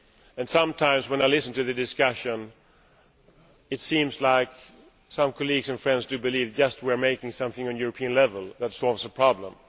and sometimes when I listen to the discussion, it seems like some colleagues and friends believe that we are making something at European level that will solve the problem.